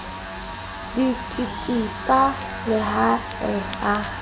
di kititsa le ha a